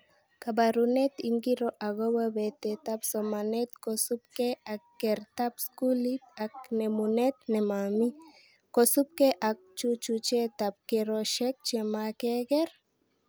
Kabarunet ingiro akobo betetab somanet kosubke ak kertaab skuli ak nemunet nemami, kosubke ak chuchuchetab keroshek chemakerke?